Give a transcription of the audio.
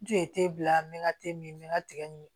N tun ye bila n bɛ n ka min ka tigɛ nin